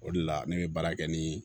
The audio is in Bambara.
O de la ne bɛ baara kɛ ni